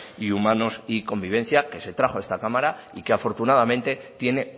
humanos y convivencia que se trajo a esta cámara y que afortunadamente tiene